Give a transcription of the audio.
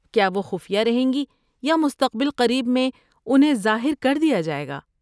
کیا وہ خفیہ رہیں گی یا مستقبل قریب میں انہیں ظاہر کر دیا جائے گا؟